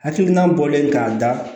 Hakilina bɔlen k'a da